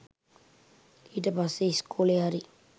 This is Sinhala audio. ඊට පස්සෙ ඉස්කෝලෙ හරි